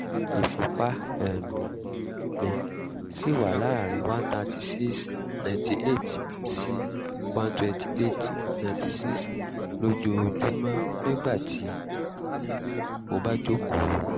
ìfúnpá um mi ṣì wà láàárín one hundred thirty six / ninety eight sí one hundred twenty eight / ninety six lójoojúmọ́ nígbà tí mo bá jókòó